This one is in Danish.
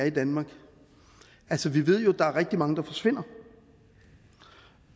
i danmark altså vi ved jo at der er rigtig mange der forsvinder